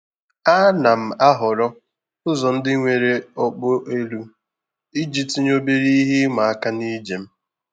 A na m ahọrọ ụzọ ndị nwere okpu elu iji tinye obere ihe ịma aka na ije m.